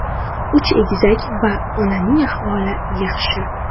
Uch egizak va onaning ahvoli yaxshi.